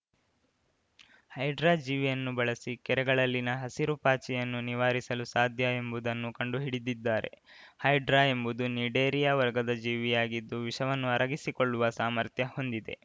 hydra ಜೀವಿಯನ್ನು ಬಳಿಸಿ ಕೆರೆಗಳಲ್ಲಿನ ಹಸಿರು ಪಾಚಿಯನ್ನು ನಿವಾರಿಸಲು ಸಾಧ್ಯ ಎಂಬುದನ್ನು ಕಂಡುಹಿಡಿದಿದ್ದಾರೆ ಹೈಡ್ರಾ ಎಂಬುದು ನಿಡೇರಿಯಾ ವರ್ಗದ ಜೀವಿಯಾಗಿದ್ದು ವಿಷವನ್ನು ಅರಗಿಸಿಕೊಳ್ಳುವ ಸಾಮರ್ಥ್ಯ ಹೊಂದಿದೆ